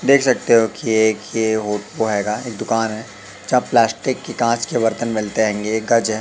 देख सकते हो कि एक ये होत होआएगा एक दुकान है जहां प्लास्टिक की कांच के बर्तन मिलते हेंगे एक गज है।